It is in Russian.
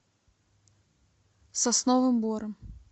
сосновым бором